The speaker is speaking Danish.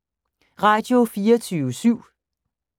Radio24syv